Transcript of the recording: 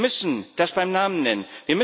Wir müssen das beim Namen nennen.